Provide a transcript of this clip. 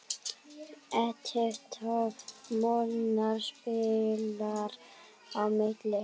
Edith Molnar spilar á milli.